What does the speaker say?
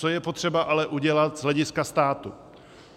Co je potřeba ale udělat z hlediska státu?